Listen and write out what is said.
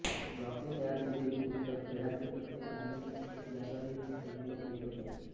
ब्लॉकने तयार केलेली पुस्तके खेळाचे पत्ते धार्मिक चित्रे याद्वारे बनविण्यात येत असत